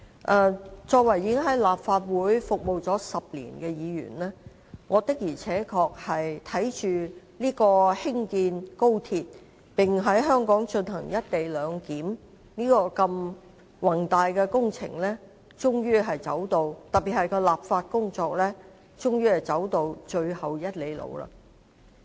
我身為在立法會已服務了10年的議員，我確實看着高鐵興建，並在香港進行"一地兩檢"的宏大工程，特別是立法工作終於走到最後1里路。